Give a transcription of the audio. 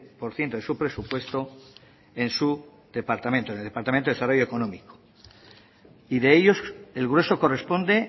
por ciento de su presupuesto en su departamento en el departamento de desarrollo económico y de ellos el grueso corresponde